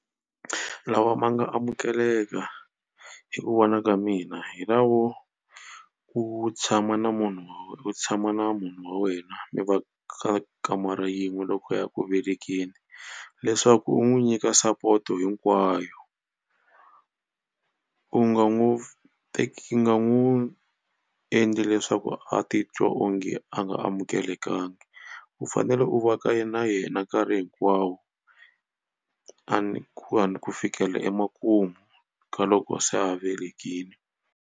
Lawa ma nga amukeleka hi ku vona ka mina hi lawo u tshama na munhu u tshama na munhu wa wena mi va ka kamara yin'we loko a ya ku velekeni leswaku u n'wi nyika support-o hinkwayo. U nga n'wi teki u nga n'wi endli leswaku a titwa onge a nga amukelekangi. U fanele u va ka na yena nkarhi hinkwawo a ni ku a ni ku fikela emakumu ka loko se a velekile.